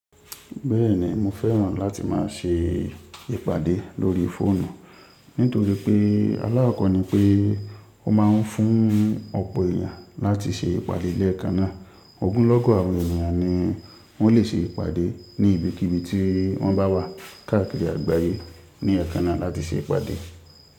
Bẹ́ẹ̀ni mo fẹ́ràn láti máa ṣe ìpàdé lórí fóònù, nítorí pé aláàkọ́ni pé ó ma ń fún ọ̀pọ̀ èyàn láti ṣe ìpàdé lẹ́ẹ̀kaná. Ògúnlọ́gọ̀ àwọn ènìyàn ni wọ́n lè ṣe ìpàdé ní ibikíbi tí wọ́n bá wà káàkiri àgbáyé ní ẹẹ́kaná láti ṣe ìpàdé.